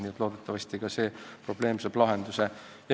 Nii et loodetavasti saab ka see probleem lahenduse.